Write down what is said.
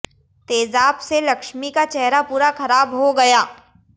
तेजाब से लक्ष्मी का चेहरा पूरा खराब हो गया